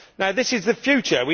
This is the future.